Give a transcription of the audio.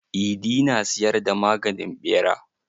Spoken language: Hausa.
Idi na siyar da maganin ɓera.